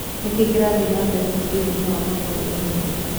Nĩ kĩĩ kĩrathĩe nambere mũbĩraĩnĩ wa maguruũmũthĩ